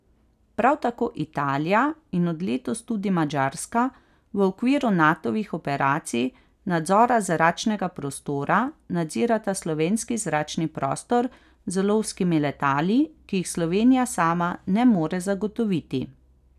Prav tako Italija in od letos tudi Madžarska v okviru Natovih operacij nadzora zračnega prostora nadzirata slovenski zračni prostor z lovskimi letali, ki jih Slovenija sama ne more zagotoviti.